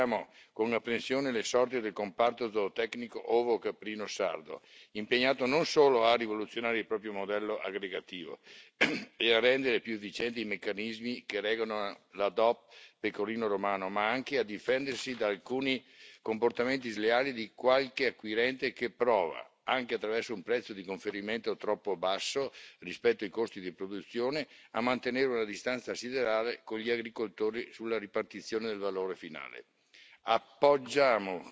Oggi, in Italia, condividiamo con apprensione le sorti del comparto zootecnico ovicaprino sardo, impegnato non solo a rivoluzionare il proprio modello aggregativo e a rendere più efficienti i meccanismi che regolano la DOP Pecorino Romano, ma anche a difendersi da alcuni comportamenti sleali di qualche acquirente che prova, anche attraverso un prezzo di conferimento troppo basso rispetto ai costi di produzione, a mantenere una distanza siderale con gli agricoltori sulla ripartizione del valore finale.